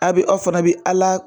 A bɛ aw fana bi ALA.